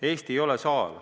Eesti ei ole saar.